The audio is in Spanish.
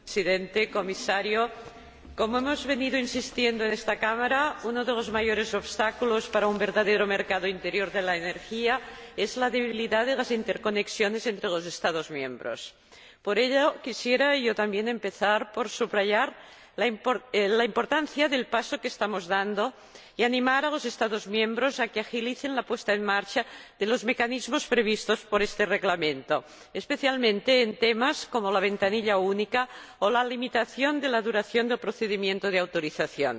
Señor Presidente, señor Comisario, como hemos venido destacando en esta Cámara, uno de los mayores obstáculos para un verdadero mercado interior de la energía es la debilidad de las interconexiones entre los Estados miembros. Por ello, quisiera yo también empezar por subrayar la importancia del paso que estamos dando y animar a los Estados miembros a que agilicen la puesta en marcha de los mecanismos previstos por este Reglamento, especialmente en temas como la ventanilla única o la limitación de la duración del procedimiento de autorización.